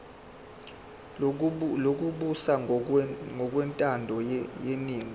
lokubusa ngokwentando yeningi